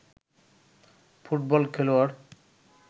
football খেলোয়াড়